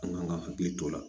An kan ka hakili to o la